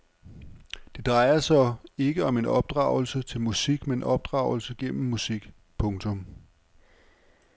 Det drejer sig ikke om opdragelse til musik men opdragelse gennem musik. punktum